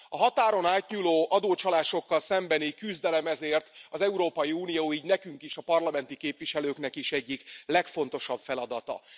A határon átnyúló adócsalások elleni küzdelem ezért az Európai Uniónak, így nekünk is, a parlamenti képviselőknek is egyik legfontosabb feladata.